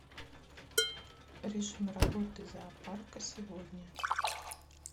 режим работы зоопарка сегодня